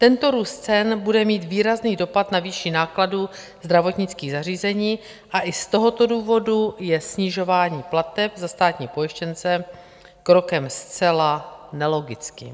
Tento růst cen bude mít výrazný dopad na výši nákladů zdravotnických zařízení, a i z tohoto důvodu je snižování plateb za státní pojištěnce krokem zcela nelogickým.